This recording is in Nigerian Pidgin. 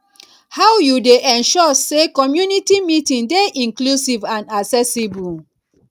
how you dey ensure say community meeting dey inclusive and accessible